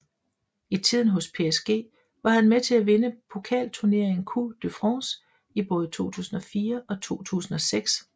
I tiden hos PSG var han med til at vinde pokalturneringen Coupe de France i både 2004 og 2006